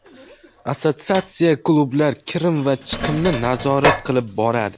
Assotsiatsiya klublar kirim va chiqimini nazorat qilib boradi.